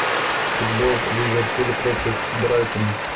футбол ливерпуль против брайтона